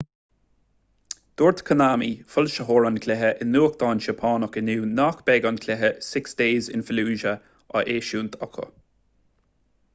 dúirt konami foilsitheoir an chluiche i nuachtán seapánach inniu nach mbeadh an cluiche six days in fallujah á eisiúint acu